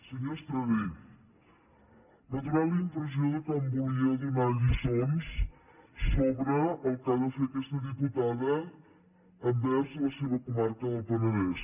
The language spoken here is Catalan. senyor estradé m’ha donat la impressió que em volia donar lliçons sobre el que ha de fer aquesta diputada envers la seva comarca del penedès